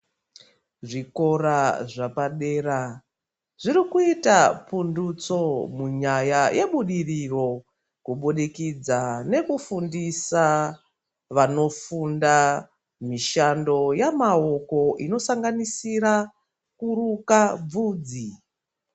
Zvikora zvepadera zviri kuita pundutso munyaya yebudiriro kubudikidza nekufundisa vanofunda mishando yamaoko inosanganisira kuruka bvudzi.